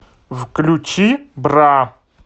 включи бра